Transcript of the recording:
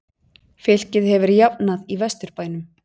Fylkir hefur jafnað í Vesturbænum